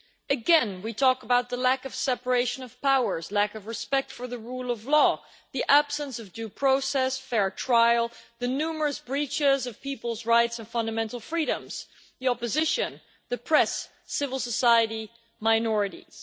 Again, we talk about the lack of separation of powers, the lack of respect for the rule of law, the absence of due process and fair trial, the numerous breaches of people's rights and fundamental freedoms, the opposition, the press, civil society and minorities.